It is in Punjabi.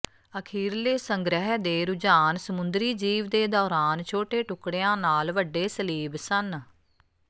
ਅਖੀਰਲੇ ਸੰਗ੍ਰਹਿ ਦੇ ਰੁਝਾਨ ਸਮੁੰਦਰੀ ਜੀਵ ਦੇ ਦੌਰਾਨ ਛੋਟੇ ਟੁਕੜਿਆਂ ਨਾਲ ਵੱਡੇ ਸਲੀਬ ਸਨ